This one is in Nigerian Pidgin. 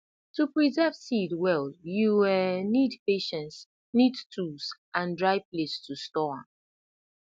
to preserve seed well you um need patience neat tools and dry place to store am